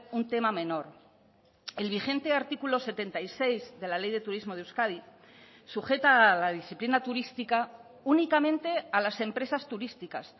un tema menor el vigente artículo setenta y seis de la ley de turismo de euskadi sujeta la disciplina turística únicamente a las empresas turísticas